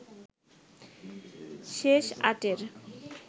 শেষ আটের